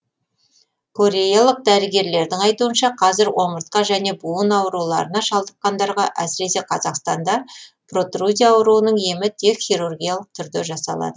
кореялық дәрігерлердің айтуынша қазір омыртқа және буын ауруларына шалдыққандарға әсіресе қазақстанда протрузия ауруының емі тек хирургиялық түрде жасалады